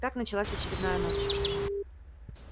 так началась очередная ночь